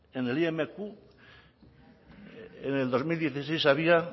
en el imq en el dos mil dieciséis había